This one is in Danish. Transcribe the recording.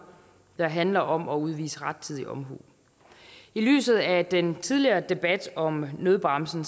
der handler om at udvise rettidig omhu i lyset af den tidligere debat om nødbremsen